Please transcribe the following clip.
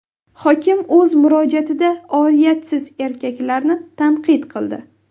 Hokim o‘z murojaatida oriyatsiz erkaklarni tanqid qildi.